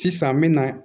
Sisan n me na